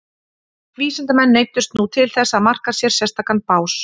Vísindamenn neyddust nú til þess að marka sér sérstakan bás.